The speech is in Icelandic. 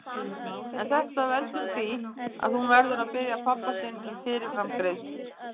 En þetta veldur því að hún verður að biðja pabba sinn um fyrirframgreiðslu.